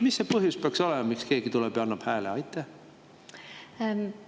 Mis see põhjus peaks olema, miks keegi tuleb ja annab teile hääle?